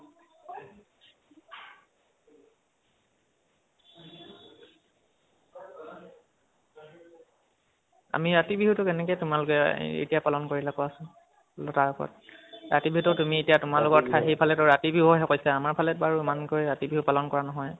আমি কাতি বিহু টো কেনেকে তোমালোক এতিয়া পালন কৰিলে কোৱাচোন তাৰওপৰত । কাতি বিহুটো তুমি এতিয়া তুমালোকৰ ঠাই, সিফালে ধৰা ৰাতি বিহু হে কৈছে আমাৰ ফালে বাৰু ইমান কৈ বাৰু ৰাতি বিহু পালন কৰা নহয় ।